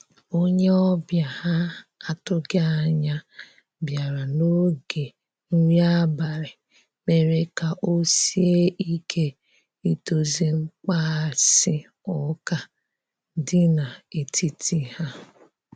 onye obia ha atughi anya biara na oge nri abali mere ka osie ike idozi mkpaghasi uka di na etiti ha.